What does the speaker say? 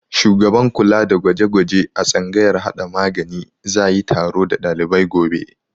Shugaban kula da gwaje-gwaje a tsangayar hada magani za yi taro da dalibai gobe.